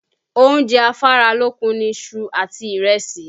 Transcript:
Oúnjẹ afáralókun ni iṣu àti ìrẹsì